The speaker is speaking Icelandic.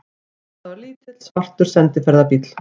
Þetta var lítill, svartur sendiferðabíll.